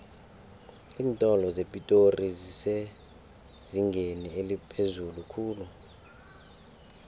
iintolo zepitori zisezingeni eliphezulu khulu